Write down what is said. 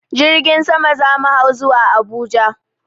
Jirgin sama za mu hau zuwa Abuja.